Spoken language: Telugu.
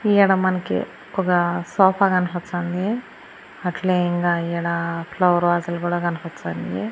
ఈడ మనకి ఒక సోఫా కనపచ్చాంది అట్లే ఇంగా ఈడ ఫ్లవర్ వాజులు కూడా కనపచ్చాంది.